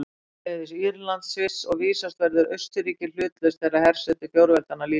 Sömuleiðis Írland og Sviss, og vísast verður Austurríki hlutlaust þegar hersetu fjórveldanna lýkur.